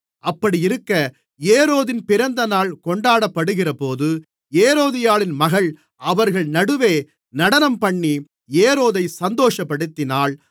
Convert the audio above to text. அப்படியிருக்க ஏரோதின் பிறந்தநாள் கொண்டாடப்படுகிறபோது ஏரோதியாளின் மகள் அவர்கள் நடுவே நடனம்பண்ணி ஏரோதைச் சந்தோஷப்படுத்தினாள்